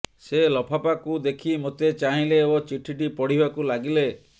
ସେ ଲଫାପାକୁ ଦେଖି ମୋତେ ଚାହିଁଲେ ଓ ଚିଠିଟି ପଢ଼ିବାକୁ ଲାଗିଲେ